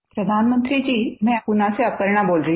प्रधानमंत्री जी मैं पूना से अपर्णा बोल रही हूँ